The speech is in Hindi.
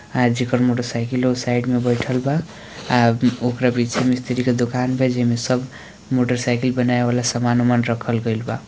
आ जेकर मोटरसाइकिल वू साईड बेठलवा आ ओकरा पीछे में मिस्ट्री का दुकान बा जेमे सब मोटरसाइकिल बनावे वाला समान रखल गईल बा।